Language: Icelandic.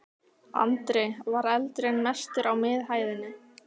Andri: Var eldurinn mestur á miðhæðinni?